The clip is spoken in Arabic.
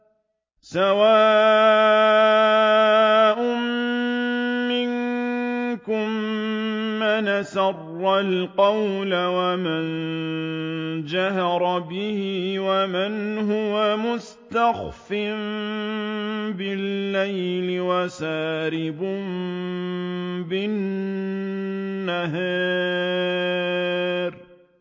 سَوَاءٌ مِّنكُم مَّنْ أَسَرَّ الْقَوْلَ وَمَن جَهَرَ بِهِ وَمَنْ هُوَ مُسْتَخْفٍ بِاللَّيْلِ وَسَارِبٌ بِالنَّهَارِ